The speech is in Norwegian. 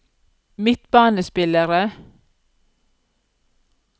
midtbanespillere